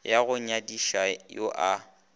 wa go nyadiša yo a